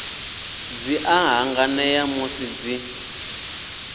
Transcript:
dzi a hanganea musi dzi